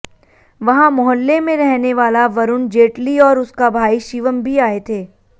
वहां मोहल्ले में रहने वाला वरूण जेटली और उसका भाई शिवम भी आए थे